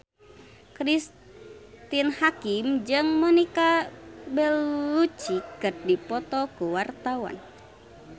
Cristine Hakim jeung Monica Belluci keur dipoto ku wartawan